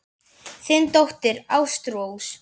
Þín dóttir, Ástrós.